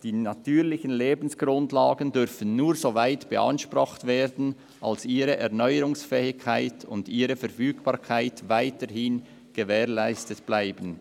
«Die natürlichen Lebensgrundlagen dürfen nur so weit beansprucht werden, als ihre Erneuerungsfähigkeit und ihre Verfügbarkeit weiterhin gewährleistet bleiben.